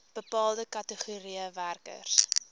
bepaalde kategorieë werkers